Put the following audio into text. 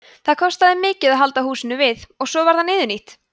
það kostaði mikið að halda húsinu við og svo varð það niðurnítt